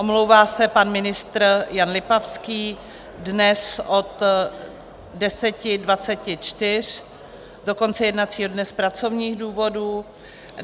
Omlouvá se pan ministr Jan Lipavský dnes od 10.24 do konce jednacího dne z pracovních důvodů.